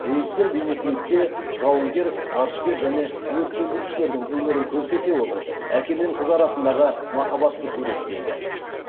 режиссер бейнеклипте жауынгер ғарышкер және өрт сөндірушілердің өмірін көрсете отырып әке мен қыз арасындағы махаббатты суреттейді